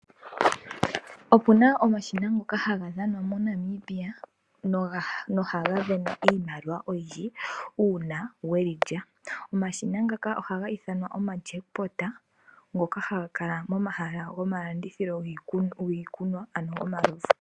Opu na omashina ngoka haga dhanwa moNamibia nohaga sindanwa iimaliwa oyindji uuna we li lya. Omashina ngaka ohaga ithanwa omajackpot ngoka haga kala momahala gomalandithilo giikunwa yomalovu.